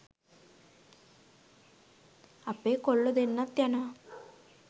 අපේ කොල්ලෝ දෙන්නත් යනවා